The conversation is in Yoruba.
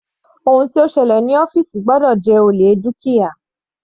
Ohun tó ṣẹlẹ̀ ní ọ́fìsì gbọ́dọ̀ jẹ́ olè dúkìá.